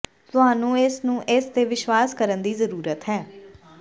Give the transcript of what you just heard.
ਤੁਹਾਨੂੰ ਇਸ ਨੂੰ ਇਸ ਤੇ ਵਿਸ਼ਵਾਸ ਕਰਨ ਦੀ ਜ਼ਰੂਰਤ ਹੈ